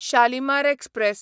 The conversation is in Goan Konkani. शालिमार एक्सप्रॅस